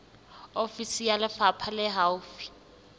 ofisi ya lefapha le haufi